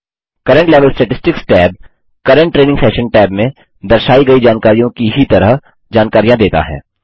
current level statistics tab current training session tab में दर्शायी गयी जानकारियों की ही तरह जानकारियाँ देता है